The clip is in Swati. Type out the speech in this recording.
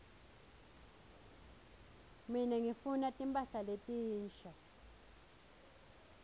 mine ngifuna timphahla letinsha